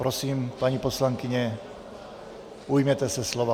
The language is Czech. Prosím, paní poslankyně, ujměte se slova.